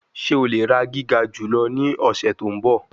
Ṣe o le ra giga julọ ni ọsẹ to nbọ?